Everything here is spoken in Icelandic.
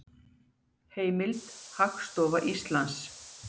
Heimild: Hagstofa Íslands.